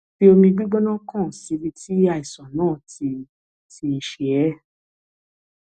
fi omi gbígbóná kan síbi tí àìsàn náà ti ti ṣe é